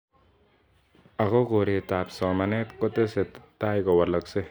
Ako koret ab somanet kotese taikowaleksei kosubkei ak panganutik ab serikalit ab emet.